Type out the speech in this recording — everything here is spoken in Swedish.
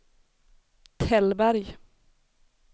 Tällberg